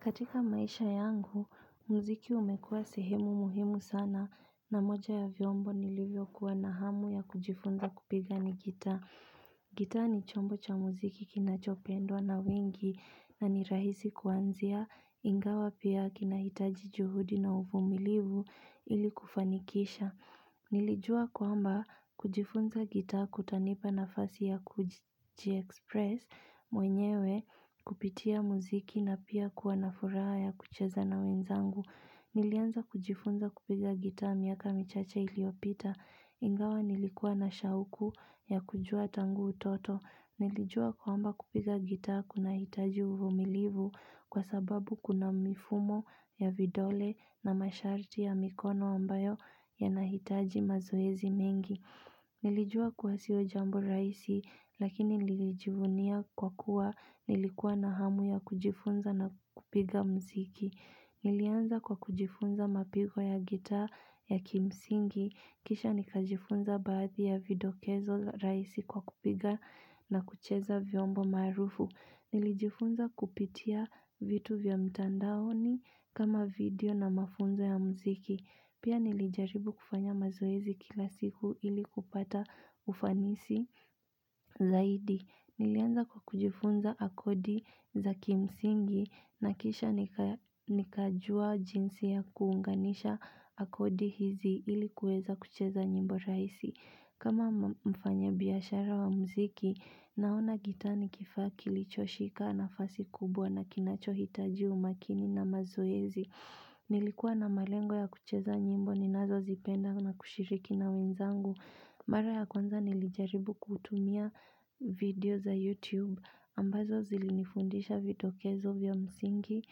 Katika maisha yangu, muziki umekuwa sehemu muhimu sana na moja ya vyombo nilivyo kuwa na hamu ya kujifunza kupiga ni gitaa. Gitaa ni chombo cha muziki kinachopendwa na wengi na ni rahisi kuanzia ingawa pia kinahitaji juhudi na uvumilivu ili kufanikisha. Nilijua kwamba kujifunza gita kutanipa nafasi ya kujiexpress mwenyewe kupitia muziki na pia kuwa na furaha ya kucheza na wenzangu. Nilianza kujifunza kupiga gitaa miaka michache iliyopita ingawa nilikuwa na shauku ya kujua tangu utoto. Nilijua kwamba kupiga gitaa kuna hitaji uvumilivu kwa sababu kuna mifumo ya vidole na masharti ya mikono ambayo yana hitaji mazoezi mengi. Nilijua kuwa siyo jambo rahisi lakini nilijivunia kwa kuwa nilikuwa na hamu ya kujifunza na kupiga muziki. Nilianza kwa kujifunza mapigo ya gitaa ya kimsingi. Kisha nikajifunza baadhi ya vidokezo rahisi kwa kupiga na kucheza vyombo maarufu. Nilijifunza kupitia vitu vya mtandaoni kama vidio na mafunzo ya muziki. Pia nilijaribu kufanya mazoezi kila siku ili kupata ufanisi zaidi. Nilianza kwa kujifunza akodi za kimsingi na kisha nikajua jinsi ya kuunganisha akodi hizi ilikuweza kucheza nyimbo rahisi. Kama mfanya biashara wa muziki, naona gitaa ni kifaa kilicho shika nafasi kubwa na kinacho hitaji umakini na mazoezi. Nilikuwa na malengo ya kucheza nyimbo, ninazo zipenda na kushiriki na wenzangu. Mara ya kwnza nilijaribu kutumia vidio za YouTube ambazo zilinifundisha vidokezo vya msingi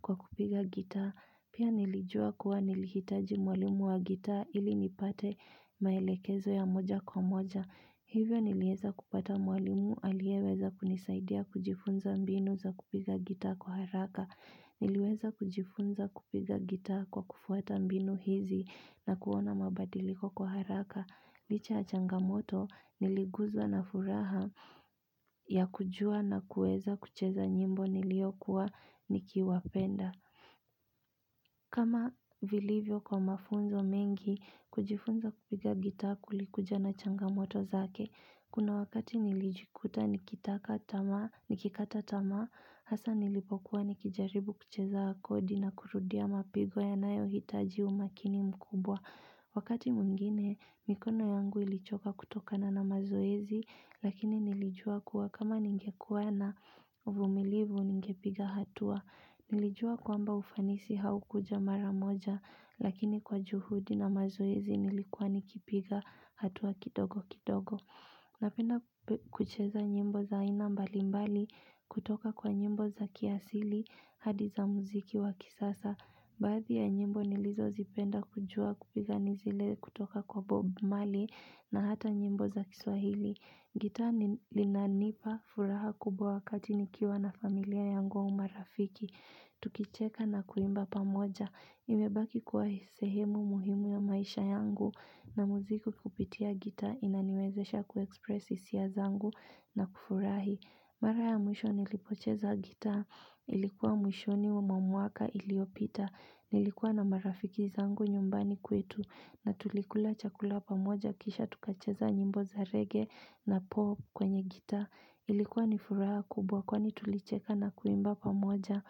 kwa kupiga gitaa. Pia nilijua kuwa nilihitaji mwalimu wa gitaa ili nipate maelekezo ya moja kwa moja. Hivyo nilieza kupata mwalimu aliyeweza kunisaidia kujifunza mbinu za kupiga gita kwa haraka. Niliweza kujifunza kupiga gitaa kwa kufuata mbinu hizi na kuona mabadiliko kwa haraka. Licha yachangamoto niliguzwa na furaha ya kujua na kueza kucheza nyimbo niliyokuwa nikiwapenda. Kama vilivyo kwa mafunzo mengi kujifunza kupiga gitaa kuli kuja na changamoto zake. Kuna wakati nilijikuta nikikata tamaa, hasa nilipokuwa nikijaribu kucheza kodi na kurudia mapigo ya nayo hitaji umakini mkubwa. Wakati mwingine, mikono yangu ilichoka kutokana na mazoezi, lakini nilijua kuwa kama ningekuwa na uvumilivu ningepiga hatua. Nilijua kwamba ufanisi haukuja maramoja, lakini kwa juhudi na mazoezi nilikuwa nikipiga hatua kidogo kidogo. Napenda kucheza nyimbo za aina mbalimbali kutoka kwa nyimbo za kiasili hadi za muziki wa kisasa. Baadhi ya nyimbo nilizo zipenda kujua kupiga nizile kutoka kwa Bob Marley na hata nyimbo za kiswahili. Gitaa ni linanipa furaha kubwa wakati nikiwa na familia yangu au marafiki. Tukicheka na kuimba pamoja. Imebaki kuwa sehemu muhimu ya maisha yangu na muziki kupitia gitaa inaniwezesha kuexpress hisia zangu na kufurahi Mara ya mwisho nilipocheza gitaa ilikuwa mwishoni mwa mwaka iliyopita Nilikuwa na marafiki zangu nyumbani kwetu na tulikula chakula pamoja kisha tukacheza nyimbo za reggae na pop kwenye gita Ilikuwa ni furaha kubwa kwani tulicheka na kuimba pamoja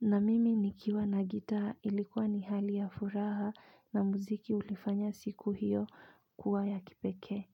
na mimi nikiwa na gitaa ilikuwa ni hali ya furaha na muziki ulifanya siku hiyo kuwa ya kipekee.